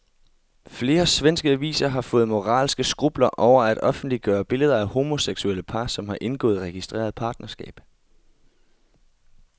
Flere svenske aviser har fået moralske skrupler over at offentliggøre billeder af homoseksuelle par, som har indgået registreret partnerskab.